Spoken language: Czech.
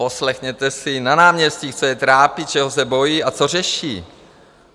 Poslechněte si na náměstí, co je trápí, čeho se bojí a co řeší.